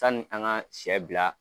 Sani an ka sɛ bila